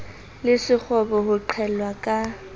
le sekgobo ho qhellwa ka